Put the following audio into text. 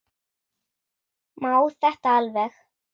Má þetta alveg?